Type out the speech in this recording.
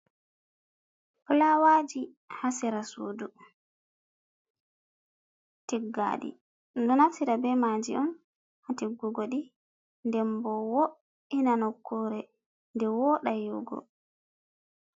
Fulawaaji Haa sera suudu tiggaɗi, ɗo naftira be maaji on haa tiggugo ɗi nden ɓo wo'ina nokkuure, nden wooɗa yi’ugo.